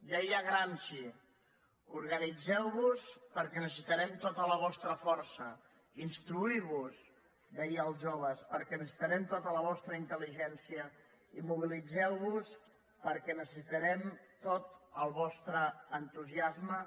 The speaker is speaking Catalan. deia gramsci organitzeu vos perquè necessitarem tota la vostra força instruir vos deia als joves perquè necessitarem tota la vostra intel·ligència i mobilitzeu vos perquè necessitarem tot el vostre entusiasme